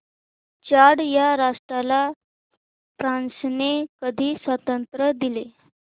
Chad या राष्ट्राला फ्रांसने कधी स्वातंत्र्य दिले